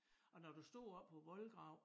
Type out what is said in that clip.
Og når du stod oppe på æ voldgrav